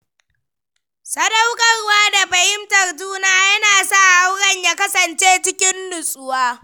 Sadaukarwa da fahimtar juna yana sa auren ya kasance cikin nutsuwa.